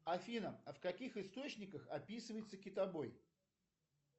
афина а в каких источниках описывается китобой